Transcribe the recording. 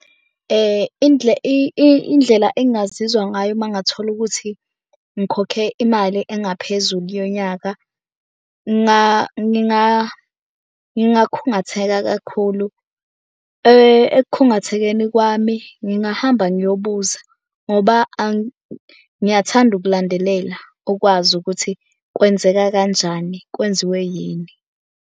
Indlela engingazizwa ngayo uma ngathola ukuthi ngikhokhe imali engaphezulu yonyaka, ngingakhungatheka kakhulu. Ekukhungathekeni kwami, ngingahamba ngiyobuza ngoba ngiyathanda ukulandelela ukwazi ukuthi kwenzeka kanjani? Kwenziwe yini?